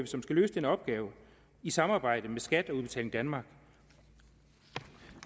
som skal løse den opgave i samarbejde med skat og udbetaling danmark